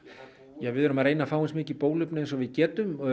við erum að reyna að fá eins mikið bóluefni og við getum